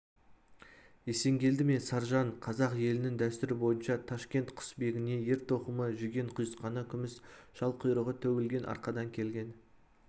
есенгелді мен саржан қазақ елінің дәстүрі бойынша ташкент құсбегіне ер-тоқымы жүген-құйысқаны күміс жал-құйрығы төгілген арқадан келген